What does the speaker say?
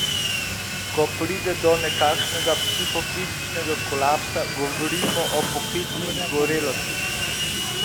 Ko pride do nekakšnega psihofizičnega kolapsa, govorimo o poklicni izgorelosti.